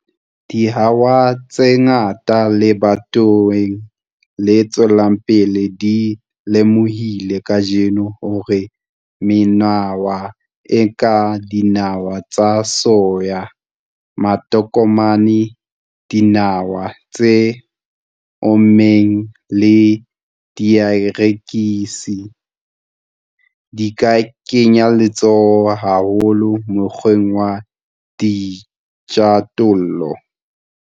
Dihawa tse ngata lebatoweng le tswelang pele di lemohile kajeno hore menawa, e kang dinawa tsa soya, matokomane, dinawa tse ommeng le dierekisi, di ka kenya letsoho haholo mokgweng wa dijothollo.